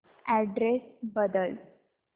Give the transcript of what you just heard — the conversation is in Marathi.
अॅड्रेस बदल